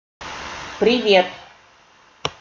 привет